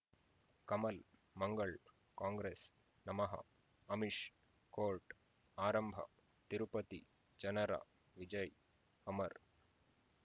ಕಮಲ್ ಮಂಗಳ್ ಕಾಂಗ್ರೆಸ್ ನಮಃ ಅಮಿಷ್ ಕೋರ್ಟ್ ಆರಂಭ ತಿರುಪತಿ ಜನರ ವಿಜಯ ಅಮರ್